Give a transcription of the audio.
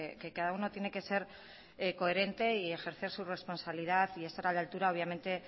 que cada uno tiene que ser coherente y ejercer su responsabilidad y estar a la altura obviamente